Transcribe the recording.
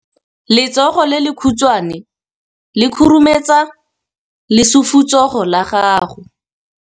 Letsogo le lekhutshwane le khurumetsa lesufutsogo la gago.